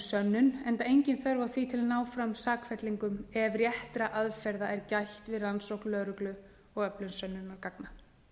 sönnun enda engin þörf á því til að ná fram sakfellingum ef réttra aðferða er gætt við rannsókn lögreglu og öflun sönnunargagna